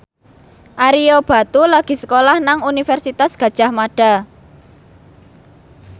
Ario Batu lagi sekolah nang Universitas Gadjah Mada